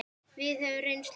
Við höfðum reynslu að deila.